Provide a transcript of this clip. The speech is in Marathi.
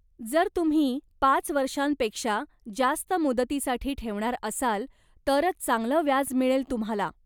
जर तुम्ही पाच वर्षांपेक्षा जास्त मुदतीसाठी ठेवणार असाल, तरंच चांगलं व्याज मिळेल तुम्हाला.